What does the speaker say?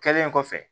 Kɛlen kɔfɛ